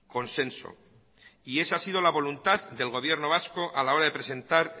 consenso y esa ha sido la voluntad del gobierno vasco a la hora de presentar